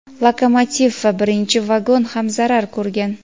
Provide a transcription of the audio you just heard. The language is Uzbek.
Lokomotiv va birinchi vagon ham zarar ko‘rgan.